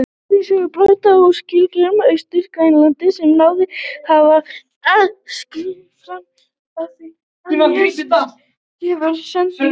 Borgarís hefur brotnað úr skriðjöklum Austur-Grænlands sem náð hafa að skríða í sjó fram.